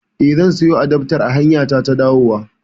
Eh, zan siyo adaftar a hanyata ta dawowa